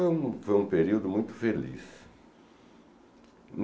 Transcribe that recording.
Então foi um período muito feliz.